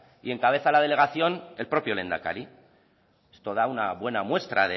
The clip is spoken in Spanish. y encabeza la delegación el propio lehendakari esto da una buena muestra